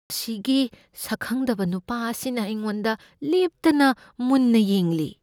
ꯑꯁꯤꯒꯤ ꯁꯛꯈꯪꯗꯕ ꯅꯨꯄꯥ ꯑꯁꯤꯅ ꯑꯩꯉꯣꯟꯗ ꯂꯦꯞꯇꯅ ꯃꯨꯟꯅ ꯌꯦꯡꯂꯤ꯫